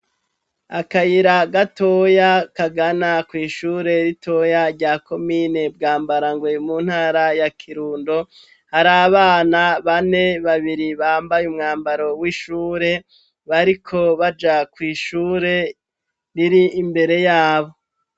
Akayira gatoya kagana kw'ishure ritoya rya komine Bwambarangwe mu ntara ya Kirundo hari abana bane, babiri bambaye umwambaro w'ishure bariko baja kw'ishure riri imbere yabo.